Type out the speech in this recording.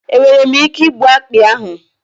Enwere m ike igbu akpị ahụ?